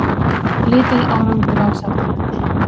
Lítill árangur af sáttafundi